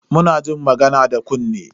Muna jin magana da kunne.